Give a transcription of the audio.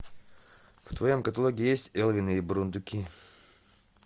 в твоем каталоге есть элвин и бурундуки